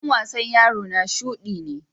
rigans wasan yaro na shuɗi ne.